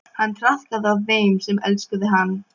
Hann traðkaði á þeim sem elskuðu hann.